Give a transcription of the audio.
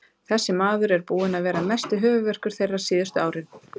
Þessi maður er búinn að vera mesti höfuðverkur þeirra síðustu árin.